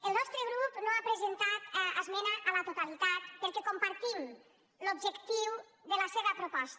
el nostre grup no ha presentat esmena a la totalitat perquè compartim l’objectiu de la seva proposta